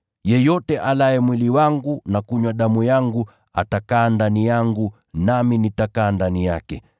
Yeyote alaye mwili wangu na kunywa damu yangu, atakaa ndani yangu nami nitakaa ndani yake.